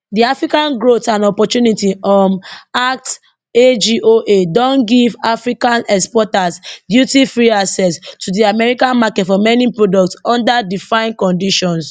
di african growth and opportunity um act agoa don give african exporters dutyfree access to di american market for many products under defined conditions